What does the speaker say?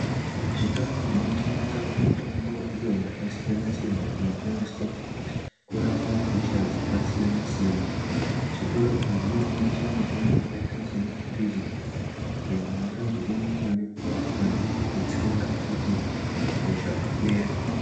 Zvitoro zvinotengesawo mitombo iyo yakasiyana-siyana inoshandiswa kurapa hosha dzakasiyana-siyana. Zvitoro izvi zvinotengesa mitombo yakaita semaphiritsi ayo anoita zvekumwiwa nemvura kana kutsenga kuti hosha ipere.